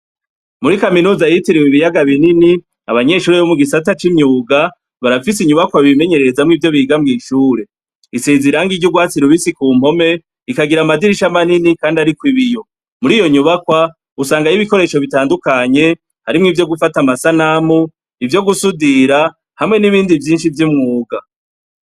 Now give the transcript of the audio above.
Muri kaminuza yitiriwe ibiyaga binini, abanyeshure bo mugisata c'imyuga, barafise inyubakwa bimenyererezamw'ivyo biga mw'ishuri. Isiz'irangi ry'urwatsi rubisi ku mpome, ikagira amadirisha manini kandi arikw'ibiyo. Muriyo nyubakwa, usangay'ibikoresho bitandukanye ,harimw'ivyo gufat'amasanamu, ivyo gusudira hamwe n'ibindi vyinshi vy'umwuga.